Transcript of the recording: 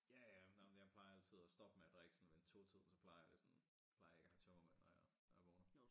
Ja ja nå men jeg plejer altid at stoppe med at drikke sådan ved en 2 tiden så plejer det sådan plejer jeg ikke at have tømmermænd når jeg når jeg vågner